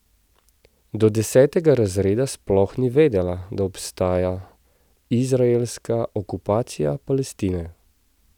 Do desetega razreda sploh ni vedela, da obstaja izraelska okupacija Palestine.